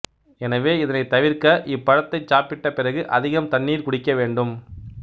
எனவே இதனைத் தவிர்க்க இப்பழத்தைச் சாப்பிட்டப் பிறகு அதிகம் தண்ணீர் குடிக்க வேண்டும்